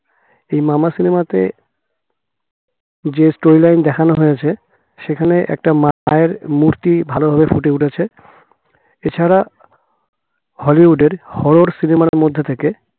এই Mama cinema তে যে story line দেখানো হয়েছে সেখানে একটা মায়ের মূর্তি ভালোভাবে ফুটে উঠেছে এছাড়া হলিউডের horro cinema র মধ্যে থেকে